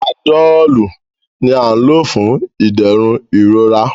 Panadọ́ọ̀lù ni à ń lò fún ìdẹ̀rùn ìrora.